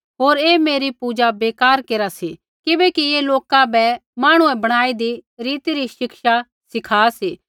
होर ऐ मेरी पूजा बेकार केरा सी किबैकि ऐ लोका बै मांहणुऐ बणाईदी रीति री शिक्षा सिखा सी